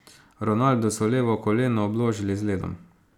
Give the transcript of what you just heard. Ronaldu so levo koleno obložili z ledom.